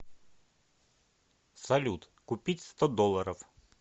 салют купить сто долларов